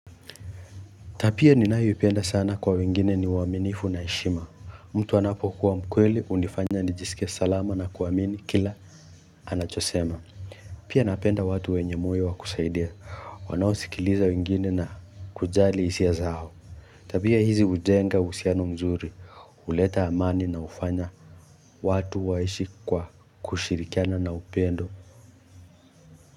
Tabia ninayoipenda sana kwa wengine ni uaminifu na heshima mtu anapokuwa mkweli hunifanya nijisikie salama na kuamini kila anachosema Pia napenda watu wenye moyo kusaidia wanaosikiliza wengine na kujali hisia zao Tabia hizi hujenga uhusiano mzuri huleta amani na hufanya watu waishi kwa kushirikiana na upendo.